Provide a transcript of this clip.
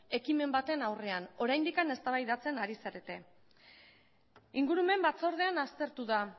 ekimen baten aurrean oraindik eztabaidatzen ari zarete ingurumen batzordean aztertu da